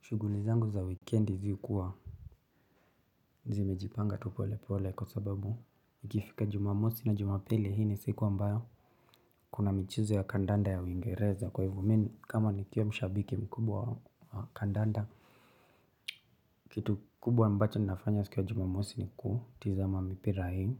Shughuli zangu za wikendi zihukuwa. Zimejipanga tu polepole kwa sababu nikifika jumamosi na jumapili hii ni siku ambayo kuna michezo ya kandanda ya uingereza kwa hivo mimi kama nikiwa mshabiki mkubwa wa kandanda. Kitu kubwa ambacho ninafanya siku ya jumamosi ni kutizama mipira hii.